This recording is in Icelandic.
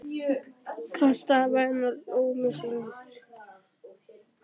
Kastaði mæðinni og hló með sjálfum sér.